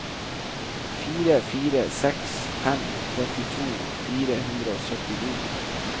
fire fire seks fem trettito fire hundre og syttini